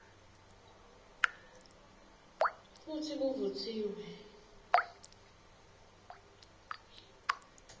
futsi kuvutsiwe